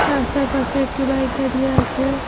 রাস্তার পাশে একটি বাইক দাঁড়িয়ে আছে।